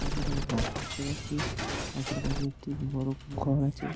আমি এখানে একটা রাস্তা দেখতে পাচ্ছি রাস্তার পাশে একটি বড়ো ঘর আছে।